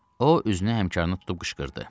O üzünü həmkarına tutub qışqırdı.